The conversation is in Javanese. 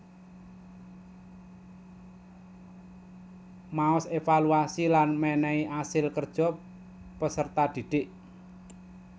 Maos evaluasi lan menehi asil kerja peserta didik